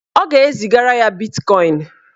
Ọ ga-ezigara ya bitkọin.